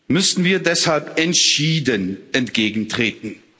müssen wir deshalb entschieden entgegentreten.